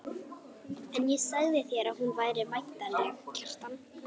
En ég sagði þér að hún væri væntanleg, Kjartan.